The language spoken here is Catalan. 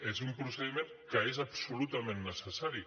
és un procediment que és absolutament necessari